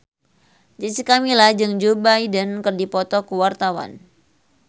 Jessica Milla jeung Joe Biden keur dipoto ku wartawan